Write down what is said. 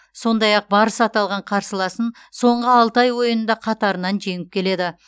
сондай ақ барыс аталған қарсыласын соңғы алты ойында қатарынан жеңіп келеді